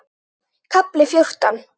KAFLI FJÓRTÁN